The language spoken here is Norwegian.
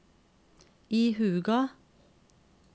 ihuga